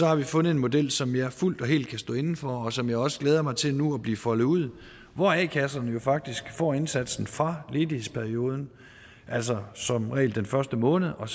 har vi fundet en model som jeg fuldt og helt kan stå inde for og som jeg også glæder mig til nu at se blive foldet ud hvor a kasserne jo faktisk får indsatsen fra ledighedsperioden altså som regel den første måned og